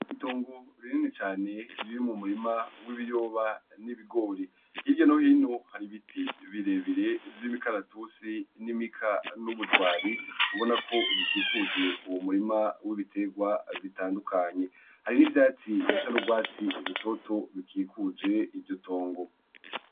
Itongo rinene cane riri mu murima w'ibiyoba n'ibigori hirya nohino hari ibiti birebire vy'imikaratusi n'imika n'ubujwari ubona ko bikikuje uwu murima w'ibiterwa bitandukanye hari n'ivyatsi bisa n'ubwatsi rutoto bikikuje iryo tongo.